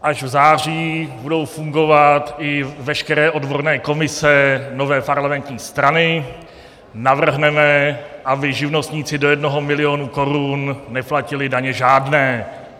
Až v září budou fungovat i veškeré odborné komise nové parlamentní strany, navrhneme, aby živnostníci do jednoho milionu korun neplatili daně žádné.